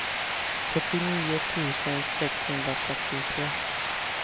fyrtionio tusen sexhundratrettiotre